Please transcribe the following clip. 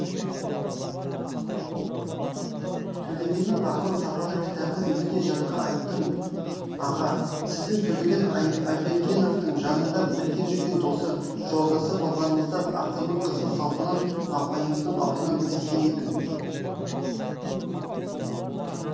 төлегеннің арман сапары кітабын өзіне жатқа айттым аға сіздің төлеген айбергеновтың жанында бірге жүрген досы жолдасы болғаныңызды ақынның қызы салтанат апайымыздың аузынан естіген едім